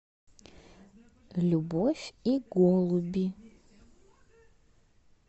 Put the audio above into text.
любовь и голуби